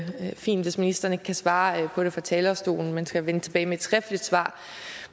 helt fint hvis ministeren ikke kan svare på det fra talerstolen men skal vende tilbage med et skriftligt svar